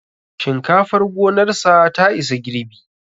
Shinkafar gonarsa ta isa girbi